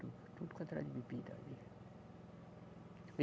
Tudo, tudo quanto era de bebida ali.